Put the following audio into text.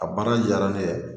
A baara diyara ne ye